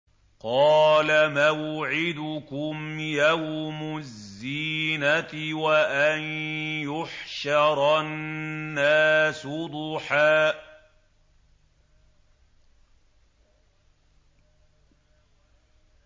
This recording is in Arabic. قَالَ مَوْعِدُكُمْ يَوْمُ الزِّينَةِ وَأَن يُحْشَرَ النَّاسُ ضُحًى